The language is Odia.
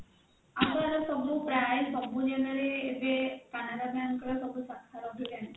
ଆଉ ୟାର ସବୁ ପ୍ରାୟ ସବୁ ପ୍ରାୟ ସବୁ ଜାଗାରେ ଏବେ canara bank ର ସବୁ ଶାଖା ରହିଲାଣି